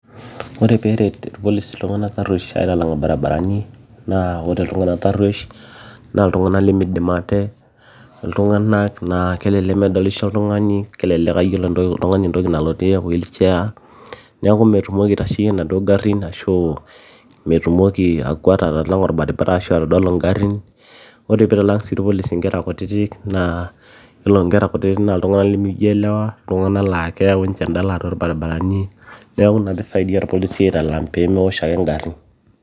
Ore peeret irpolisi iltung'anak taruesh aitalang orbaribarani naa ore iltung'anak taruesh naa iltung'anak lemeidim ate iltung'anak laa kelelek medolisho oltung'ani kelelek aa yiolo entoki nalotie wheelchair niaku metumoki aitasheyie enaduo garin ashuu metumoki aakwata atalang'a orbaribara ashua atodolu ingarin ore peitalang sii irpolisi inkera kutitik naa iyiolo inkera kutitik naa iltung'anak lemejielewa iltung'anak naa keyau ninche endala irbarabarani neeku ina peisaidia irpolisi aitalang peemewosh ake ingarin.